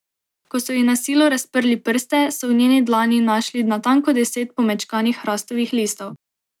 Ko so ji na silo razprli prste, so v njeni dlani našli natanko deset pomečkanih hrastovih listov.